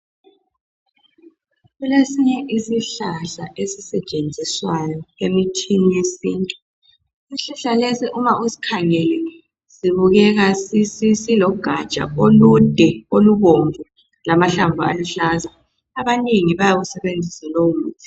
Kulesinye isihlahla ezisetshenziswayo emithini yesintu. Isihlahla lesi uma usikhangele sibukeka silogatsha olude, olubomvu lamahlamvu aluhlaza. Abanengi bayawusebenzisa lowo muthi.